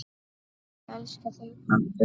Ég elska þig, pabbi minn.